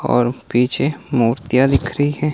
और पीछे मूर्तियां दिख रही हैं।